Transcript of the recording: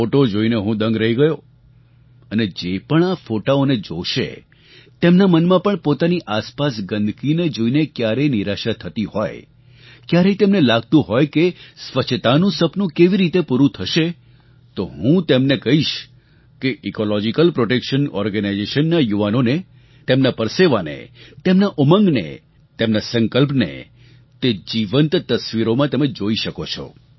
photo જોઈને હું દંગ રહી ગયો અને જે પણ આ ફોટાઓને જોશે તેમનાં મનમાં પણ પોતાની આસપાસ ગંદકીને જોઈને ક્યારેક નિરાશા થતી હોય ક્યારેક તેમને લાગતું હોય કે સ્વચ્છતાનું સપનું કેવી રીતે પૂરૂ થશે તો હું તેમને કહીશ કે ઇકૉલૉજિકલ પ્રૉટેક્શન ઑર્ગેનાઇઝેશનના યુવાઓને તેમના પરસેવાને તેમના ઉમંગને તેમનાં સંકલ્પને તમે જીવંત તસવીરોમાં તમે જોઈ શકો છો